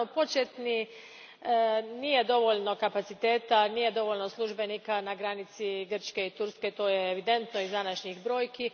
Naravno, početno nema dovoljno kapaciteta, nema dovoljno službenika na granici Grčke i Turske, to je evidentno iz današnjih brojki.